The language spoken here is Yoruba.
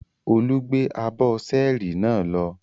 Olú gbé abọ́ ṣẹ́ẹ́rì náà lọ?